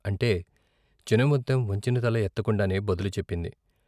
' అంటే చినముత్తెం వంచిన తల ఎత్తకుండానే బదులు చెప్పింది.